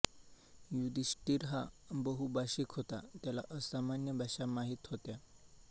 युधिष्ठिर हा बहुभाषिक होता त्याला असामान्य भाषा माहित होत्या